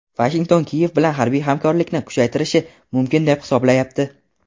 Vashington Kiyev bilan harbiy hamkorlikni kuchaytirishi mumkin deb hisoblayapti.